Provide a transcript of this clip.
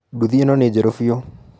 Nduthi ĩno nĩ njerũ biũ.